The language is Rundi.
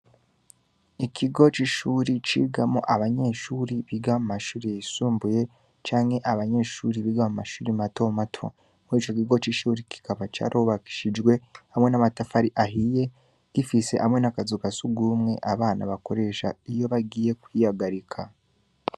Ikigo c'ishure cigamwo abanyeshure biga mu mashure y'isumbuye, canke abanyeshure biga mu mashure mato mato, ico kigo c'ishure kikaba carubakishijwe hamwe n'amatafari ahiye, gifise n'akazu ka sugumwe abana bakoresha iyo bagiye kwihagarika.